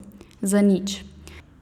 Za nič.